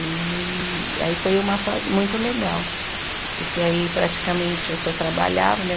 E aí foi uma fase muito legal, porque aí praticamente eu só trabalhava, né?